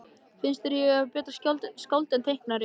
Finnst þér ég betra skáld en teiknari?